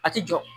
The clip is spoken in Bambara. A ti jɔ